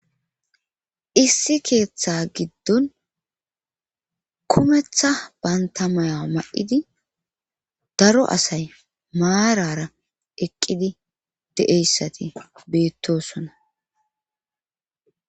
issi keeththa giddon kumetha banta maya ma7idi daro asay maarara eqqidi de7eyssati beettosona